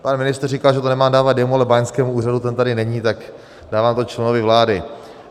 Pan ministr říká, že to nemám dávat jemu, ale báňskému úřadu - ten tady není, tak dávám to členovi vlády.